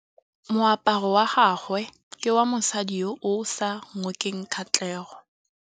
Moaparô wa gagwe ke wa mosadi yo o sa ngôkeng kgatlhegô.